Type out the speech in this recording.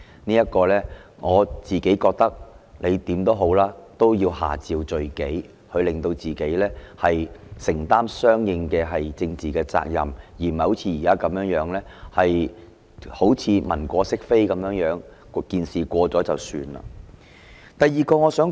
我個人認為，無論如何，他也要下詔罪己，讓自己承擔相應的政治責任，而不是現在如文過飾非般，等待事件結束便算。